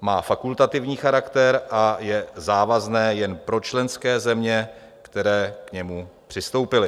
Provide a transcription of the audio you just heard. má fakultativní charakter a je závazné jen pro členské země, které k němu přistoupily.